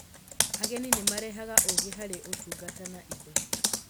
Ageni nĩ marehaga ũũgĩ harĩ ũtungata na indo.